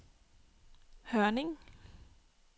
Hørning